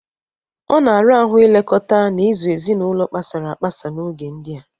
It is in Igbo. Ọ na-ara ahụ ilekọta na ịzụ ezinaụlọ kpasara agbasa n'oge ndịa.